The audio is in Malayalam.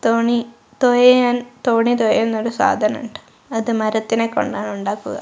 തോണി തൊയയാൻ തോണി തുഴയുന്ന ഒരു സാധനമുണ്ട് അത് മരത്തിനെ കൊണ്ടാണ് ഉണ്ടാക്കുക.